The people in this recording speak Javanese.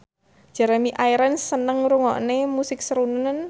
Jeremy Irons seneng ngrungokne musik srunen